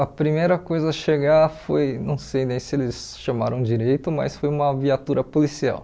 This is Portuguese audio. A primeira coisa a chegar foi, não sei nem se eles chamaram direito, mas foi uma viatura policial.